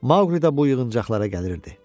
Maqlidə bu yığıncaqlara gəlirdi.